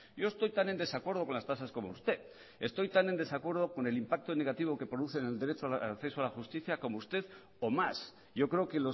yo estoy tan en desacuerdo con las tasas como usted estoy tan en desacuerdo con el impacto negativo que produce en el derecho de acceso a la justicia como usted o más yo creo que